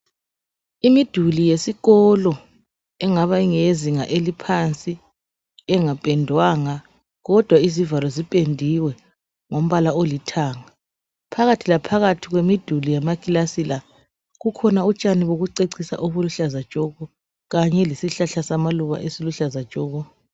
Imiduli yesikolo engaba ingeye zinga eliphansi engapendwanga kodwa izivalo zipendiwe ngombala olithanga phakathi la phakathi kwemiduli yamakilasi la kukhona utshani bokucecisa obuluhlaza tshoko kanye lesihlahla samaluba esiluhlaza tshoko.